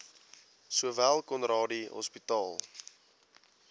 sowel conradie hospitaal